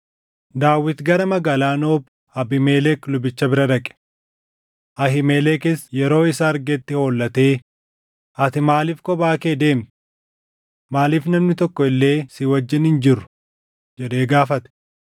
Daawit gara magaalaa Noob Abiimelek lubicha bira dhaqe. Ahiimelekis yeroo isa argetti hollatee, “Ati maaliif kophaa kee deemta? Maaliif namni tokko illee si wajjin hin jirru?” jedhee gaafate.